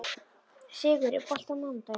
Sigur, er bolti á mánudaginn?